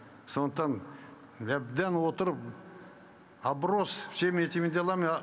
сондықтан әбден отырып оброс всеми этими делами